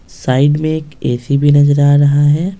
Side में एक AC भी नजर आ रहा है।